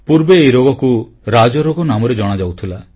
ପୂର୍ବେ ଏହି ରୋଗକୁ ରାଜରୋଗ ନାମରେ ଜଣାଯାଉଥିଲା